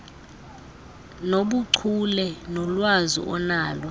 nobuchule nolwazi onalo